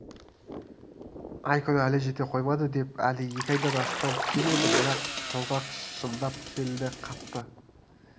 ай-күні әлі жете қоймап еді әлі екі айдан астам кем еді бірақ толғақ шындап келді қатты